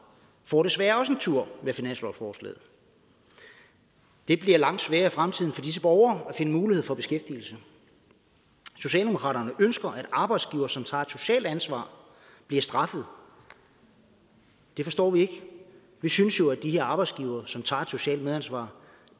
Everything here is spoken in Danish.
får desværre også en tur med finanslovsforslaget det bliver langt sværere i fremtiden for disse borgere at finde mulighed for beskæftigelse socialdemokraterne ønsker at arbejdsgivere som tager et socialt ansvar bliver straffet det forstår vi ikke vi synes jo at de her arbejdsgivere som tager et socialt medansvar